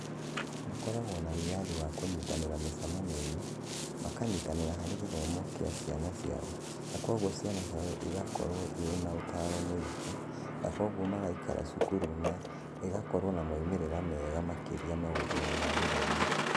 Makoragwo na wĩyathi wa kũnyitanĩra mĩcemanio-inĩ, makanyitanĩra harĩ gĩthomo kĩa ciana ciao, na kwoguo ciana ciao ikoragwo irĩ na ũtaaro mũingĩ, na kwoguo magaikara cukuru na igakorũo na moimĩrĩro mega makĩria maũndũ-inĩ ma gĩthomo.